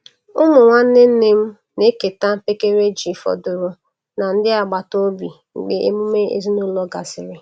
Ụmụ nwanne nne m na-eketa mpekere ji fọdụrụ na ndị agbata obi mgbe emume ezinụlọ gasịrị.